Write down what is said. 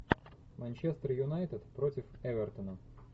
манчестер юнайтед против эвертона